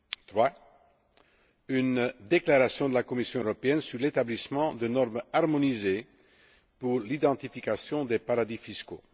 Troisièmement, une déclaration de la Commission européenne sur l'établissement de normes harmonisées pour l'identification des paradis fiscaux.